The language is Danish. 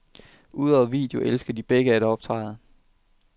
Udover video elsker de begge at optræde.